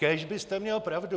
Kéž byste měl pravdu.